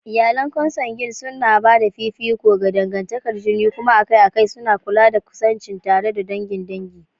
Iyalan Consanguine suna ba da fifiko ga dangantakar jini kuma akai-akai suna kula da kusanci tare da dangin dangi.